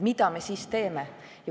Mida me siis teeme?